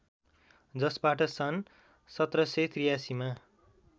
जसबाट सन् १७८३ मा